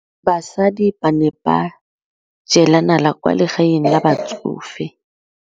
Basadi ba ne ba jela nala kwaa legaeng la batsofe.